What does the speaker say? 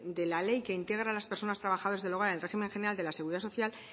de la ley que integra a las personas trabajadoras del hogar en el régimen general de la seguridad social